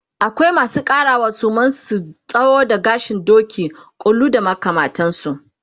akwai masu ƙarawa suman su tsawo da gashin Doki, ƙulu da makamantansu